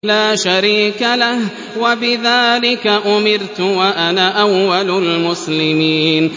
لَا شَرِيكَ لَهُ ۖ وَبِذَٰلِكَ أُمِرْتُ وَأَنَا أَوَّلُ الْمُسْلِمِينَ